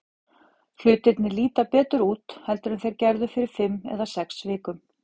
Hlutirnir líta betur út heldur en þeir gerðu fyrir fimm eða sex vikum.